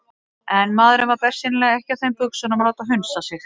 En maðurinn var bersýnilega ekki á þeim buxunum að láta hunsa sig.